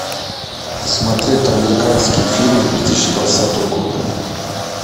посмотреть американские фильмы две тысячи двадцатого года